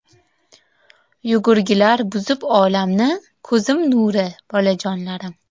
Yugurgilar buzib olamni, Ko‘zim nuri bolajonlarim.